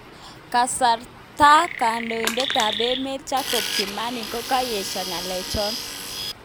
Kasarta kandoitet ap emet jacob kimani konyesagn kalech chon